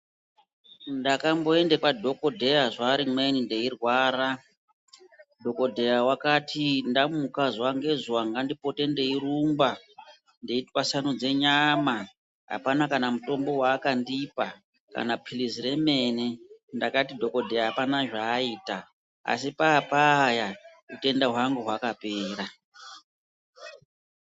Ndakamboenda kwadhokodheya zuva rimweni ndeirwara, dhokodheyaa wakati ndamuka zuwa ngezuwa ngandipote ndeirumba, ndeitwasanudze nyama, hapana kana mutombo waakandipa, kana pilizi remene, ndakati dhokodheyaa hapana zvaaita asi paa payaa utenda hwangu hwakapera.